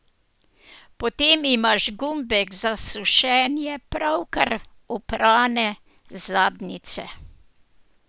Potem imaš gumbek za sušenje pravkar oprane zadnjice.